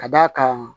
Ka d'a kan